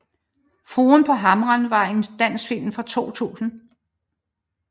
Fruen på Hamre er en dansk film fra 2000